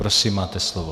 Prosím, máte slovo.